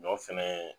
Ɲɔ fɛnɛ